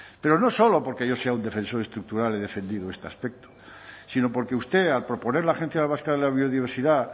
pero no solo porque yo soy un defensor estructural he defendido este aspecto sino porque usted al proponer la agencia vasca de la biodiversidad